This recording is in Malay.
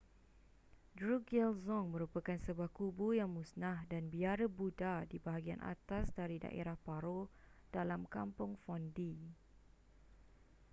drukgyal dzong merupakan sebuah kubu yang musnah dan biara buddha di bahagian atas dari daerah paro dalam kampung phondey